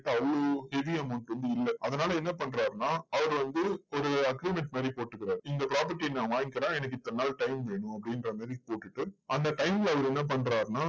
இப்போ அவ்வளோ பெரிய heavy amount வந்து இல்ல. அதனால என்ன பண்றாருன்னா, அவர் வந்து ஒரு agreement மாதிரி போட்டுக்கிறார். இந்த property ய நான் வாங்கிக்கிறேன். எனக்கு இத்தனை நாள் time வேணும். அப்படின்ற மாதிரி போட்டுட்டு, அந்த time ல அவர் என்ன பண்றாருன்னா,